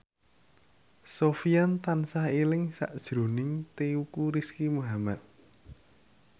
Sofyan tansah eling sakjroning Teuku Rizky Muhammad